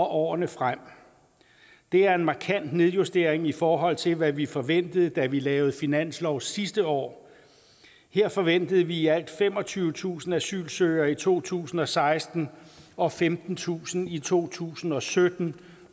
årene frem det er en markant nedjustering i forhold til hvad vi forventede da vi lavede finanslov sidste år her forventede vi i alt femogtyvetusind asylsøgere i to tusind og seksten og femtentusind i to tusind og sytten